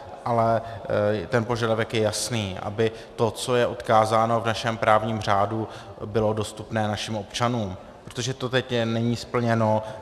Ale ten požadavek je jasný, aby to, co je odkázáno v našem právním řádu, bylo dostupné našim občanům, protože to teď není splněno.